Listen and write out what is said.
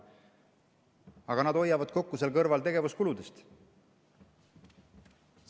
Aga seal kõrval nad hoiavad tegevuskulude pealt kokku.